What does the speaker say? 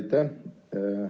Aitäh!